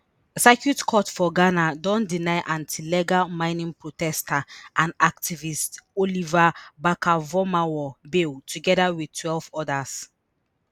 circuit court for ghana don deny anti-illegal mining protester and activist Oliver Barker-Vormawor bail togeda wit twelve odas